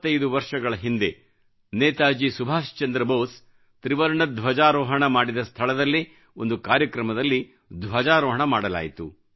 75 ವರ್ಷಗಳ ಹಿಂದೆ ನೇತಾಜಿ ಸುಭಾಷ್ ಬೋಸ್ ತ್ರಿವರ್ಣ ಧ್ವಜಾರೋಹಣ ಮಾಡಿದ ಸ್ಥಳದಲ್ಲೇ ಒಂದು ಕಾರ್ಯಕ್ರಮದಲ್ಲಿ ಧ್ವಜಾರೋಹಣ ಮಾಡಲಾಯಿತು